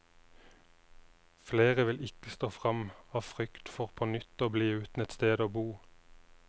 Flere vil ikke stå frem, av frykt for på nytt å bli uten et sted å bo.